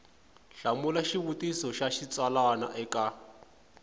hlamula xivutiso xa xitsalwana eka